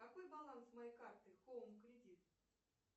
какой баланс моей карты хоум кредит